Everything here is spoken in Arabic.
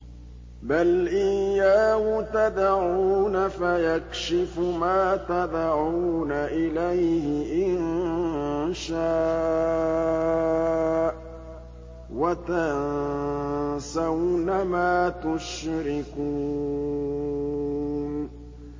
بَلْ إِيَّاهُ تَدْعُونَ فَيَكْشِفُ مَا تَدْعُونَ إِلَيْهِ إِن شَاءَ وَتَنسَوْنَ مَا تُشْرِكُونَ